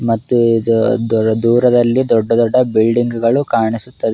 ಮತ್ತು ಇದು ದೋರ್ ದೂರದಲ್ಲಿ ದೊಡ್ಡ ದೊಡ್ಡ ಬಿಲ್ಡಿಂಗ್ ಗಳು ಕಾಣಿಸುತ್ತದೆ.